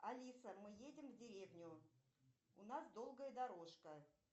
алиса мы едем в деревню у нас долгая дорожка